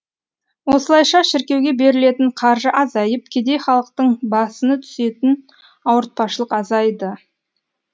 осылайша шіркеуге берілетін қаржы азайып кедей халықтың басыны түсетін ауыртпашылық азайды